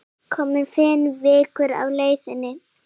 Komin fimm vikur á leið.